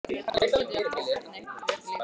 Af hverju get ég aldrei gert neitt rétt í lífinu?